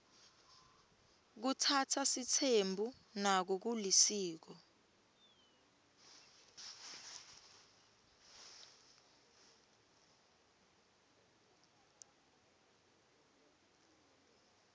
kutsatsa sitsembu nako kulisiko